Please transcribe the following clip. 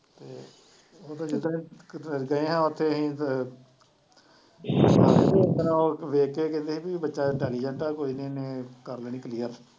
ਗਏ ਹਾਂ ਉੱਥੇ ਅਸੀਂ ਅਹ ਓਦਣ ਉਹ ਵੇਖ ਕੇ ਕਹਿੰਦੇ ਵੀ ਬੱਚਾ intelligent ਆ ਕੋਈ ਨੀ ਇਹਨੇ ਕਰ ਲੈਣੀ clear